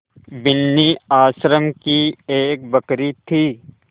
बिन्नी आश्रम की एक बकरी थी